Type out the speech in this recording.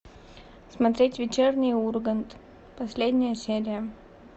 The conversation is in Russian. смотреть вечерний ургант последняя серия